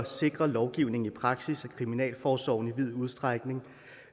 sikrer lovgivningen i praksis at kriminalforsorgen i vid udstrækning